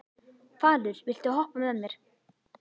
Falur, viltu hoppa með mér?